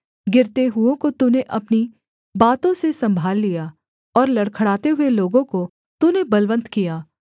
गिरते हुओं को तूने अपनी बातों से सम्भाल लिया और लड़खड़ाते हुए लोगों को तूने बलवन्त किया